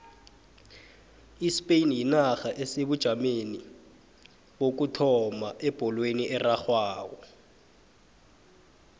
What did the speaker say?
ispain yinarha esebujameni bokuthoma ebholweni erarhwako